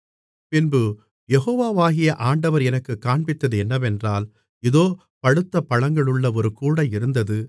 பின்பு யெகோவாகிய ஆண்டவர் எனக்குக் காண்பித்தது என்னவென்றால் இதோ பழுத்த பழங்களுள்ள ஒரு கூடை இருந்தது